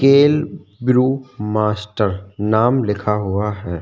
कैल brew master नाम लिखा हुआ है।